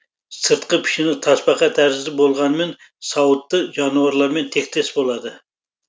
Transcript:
сыртқы пішіні тасбақа тәрізді болғанымен сауыты жануарлармен тектес болады